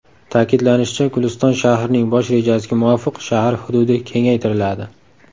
Ta’kidlanishicha, Guliston shahrining bosh rejasiga muvofiq shahar hududi kengaytiriladi.